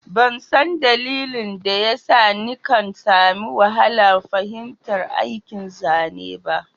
Ban san dalilin da ya sa nikan sami wahalar fahimtar aikin zane b